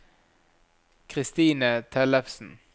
Kristine Tellefsen